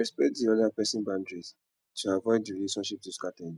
respect di other person boundaries to avoid di relationship to scatter again